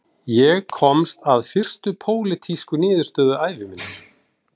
Ég komst að fyrstu pólitísku niðurstöðu ævi minnar